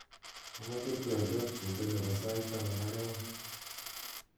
amoje twolyot kinde nepo sait taman ak oeng'